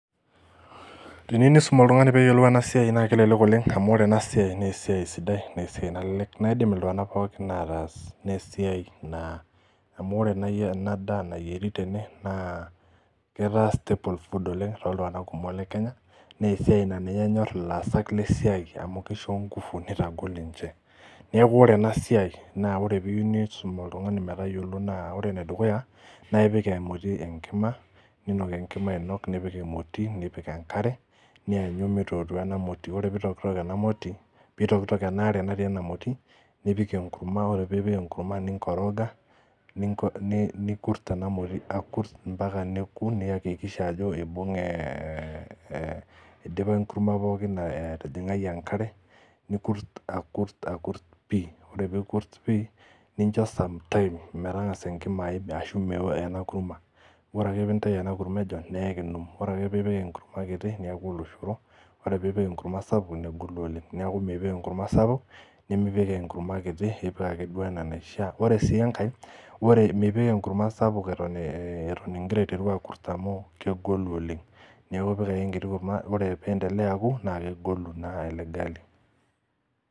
Teniu isum oltung'ani peeyiolou ena siai naa kelelek oleng amu ore ena siai nesiai sidai nesiai nalelek naidim iltung'anak pookin ataas nesiai naa amu ore naai ena daa nayieri tene naa ketaa staple food oleng toltung'anak kumok le kenya nesiai naa ninye enyorr ilaasak lesiai amu kisho ingufu nitagol ninche neeku ore ena siai naa ore piu nisum oltung'ani metayiolo naa ore enedukuya naipik emoti enkima ninok enkima ainok nipik emoti nipik enkare nianyu mitotua ena moti ore pitokitok ena moti pitokitok ena are natii ena moti nipik enkurma ore piipik enkurma ninkoroga ninko nikurt ena moti akurt mpaka neku niyakikisha ajo ibung'e eeh idipa enkurma pookin eh atijing'ai enkare nikurt akurt pii ore peikurt pii nincho sometime metang'asa enkima aim ashu mewo ena kurma ore ake pintai ena kurma ejon neekinum ore ake piipik enkurma kiti niaku oloshoro ore piipik enkurma sapuk negolu oleng niaku mpik enkurma sapuk nemipik enkurma kiti ipik ake duo enaa enaishia ore sii enkae ore mipik enkurama sapuk eton eh eton ingira aiteru akurt amu kegolu oleng neeku ipik ake enkiti kurma ore piendelea aku naa kegolu naa ele gali.